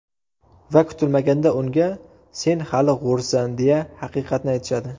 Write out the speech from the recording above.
Va kutilmaganda unga: sen hali g‘o‘rsan, deya haqiqatni aytishadi.